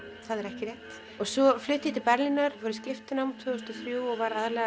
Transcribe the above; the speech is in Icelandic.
það er ekki rétt en svo flutti ég til Berlínar og fór í skiptinám tvö þúsund og þrjú og